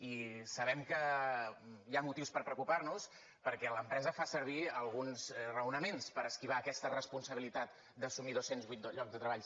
i sabem que hi ha motius per preocupar nos perquè l’empresa fa servir alguns raonaments per esquivar aquesta responsabilitat d’assumir dos cents i vuit llocs de treball